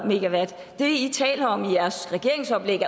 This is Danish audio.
det i taler om i jeres regeringsoplæg